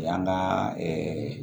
O y'an ka